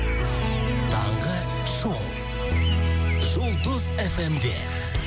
таңғы шоу жұлдыз эф эм де